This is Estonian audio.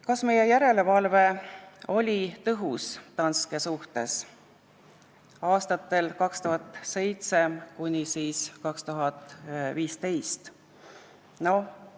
Kas meie järelevalve Danske suhtes oli aastatel 2007–2015 tõhus?